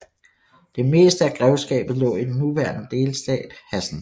Det meste af grevskabet lå i den nuværende delstat Hessen